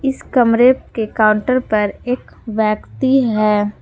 कमरे के काउंटर पर एक व्यक्ति हैं।